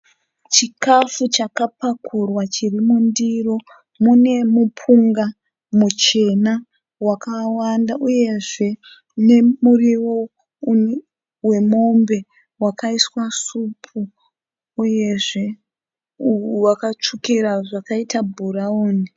Chikafu chakapakurwa chirimundiro. Munemupunga muchena wakawanda, uyezve nemuriwo wemombe wakaiswa supu. Uyezve wakatsvukira zvakaita bhurawuni.